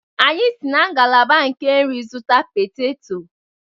Anyị si na ngalaba nke nri zụta peteto.